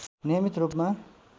नियमित रूपमा